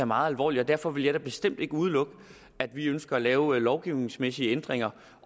meget alvorligt og derfor vil jeg da bestemt ikke udelukke at vi ønsker at lave lovgivningsmæssige ændringer